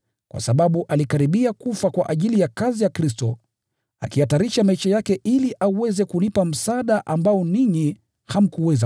kwa sababu alikaribia kufa kwa ajili ya kazi ya Kristo, akihatarisha maisha yake ili aweze kunihudumia vile ninyi hamkuweza.